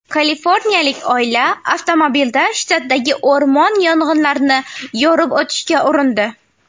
Kaliforniyalik oila avtomobilda shtatdagi o‘rmon yong‘inlarini yorib o‘tishga urindi.